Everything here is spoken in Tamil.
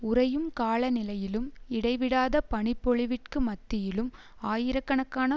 உறையும் காலநிலையிலும் இடைவிடாத பனிப்பொழிவிற்கு மத்தியிலும் ஆயிரக்கணக்கான